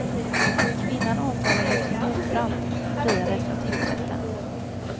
Kvinnan åtalades för mordbrand, men friades av tingsrätten.